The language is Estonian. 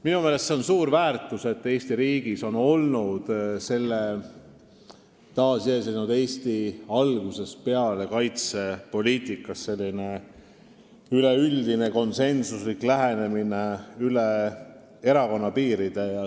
Minu meelest on see suur väärtus, et Eesti riigis on taasiseseisvumise aja algusest peale olnud kaitsepoliitikas üleüldine konsensuslik lähenemine, üle erakonnapiiride.